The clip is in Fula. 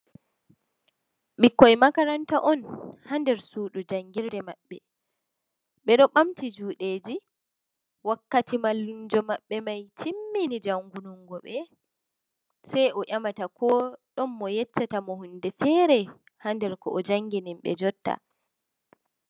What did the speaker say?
Ɓikkoi makaranta on ha nder sudu jangirde maɓɓe, ɓe ɗo ɓamti juɗeji wakkati mallumjo maɓɓe mai timmini jangunungo ɓe, sai o ƴemata ko ɗon mo yecca tamo hunde fere ha nder ko o jangini ɓe jotta.